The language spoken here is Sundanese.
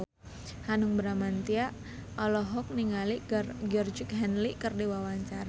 Hanung Bramantyo olohok ningali Georgie Henley keur diwawancara